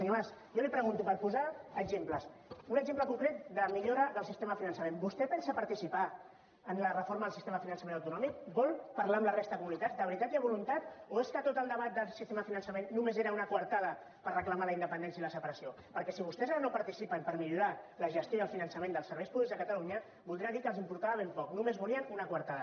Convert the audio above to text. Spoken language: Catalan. senyor mas jo li pregunto per posar exemples un exemple concret de millora del sistema de finançament vostè pensa participar en la reforma del sistema de finançament autonòmic vol parlar amb la resta de comunitats de veritat hi ha voluntat o és que tot el debat del sistema de finançament només era una coartada per reclamar la independència i la separació perquè si vostès ara no participen per millorar la gestió del finançament dels serveis públics de catalunya voldrà dir que els importava ben poc només volien una coartada